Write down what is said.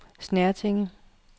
Snertinge